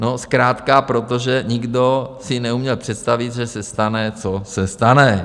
No zkrátka protože nikdo si neuměl představit, že se stane, co se stane.